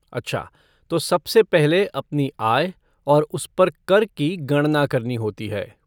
अच्छा तो सबसे पहले अपनी आय और उस पर कर की गणना करनी होती है।